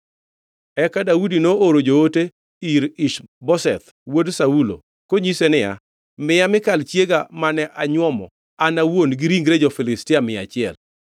Eka Daudi nooro joote ir Ish-Boseth wuod Saulo konyise niya, “Miya Mikal chiega mane anywomo an awuon gi ringre jo-Filistia mia achiel.”